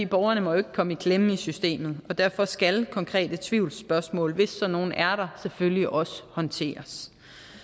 borgerne må jo ikke komme i klemme i systemet og derfor skal konkrete tvivlsspørgsmål hvis sådan nogle er der selvfølgelig også håndteres